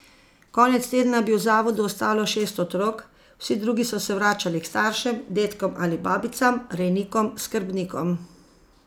Konec tedna bi v zavodu ostalo šest otrok, vsi drugi so se vračali k staršem, dedkom ali babicam, rejnikom, skrbnikom.